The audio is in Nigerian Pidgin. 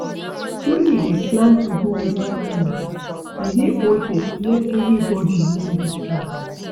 When you dey plan to go with family, e dey okay to let everybody know di plan